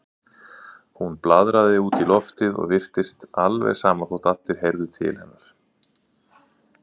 Hún blaðraði út í loftið og virtist alveg sama þótt allir heyrðu til hennar.